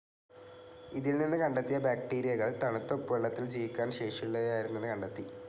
ഇതിൽ നിന്ന് കണ്ടെത്തിയ ബാക്ടീരിയകൾ തണുത്ത ഉപ്പുവെള്ളത്തിൽ ജീവിക്കാൻ ശേഷിയുള്ളവയായിരുന്നെന്ന് കണ്ടെത്തി.